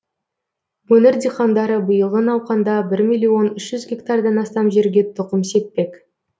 өңір диқандары биылғы науқанда бір миллион үш жүз гектардан астам жерге тұқым сеппек